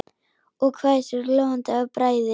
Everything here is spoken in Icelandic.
Og hvæsir, glóandi af bræði.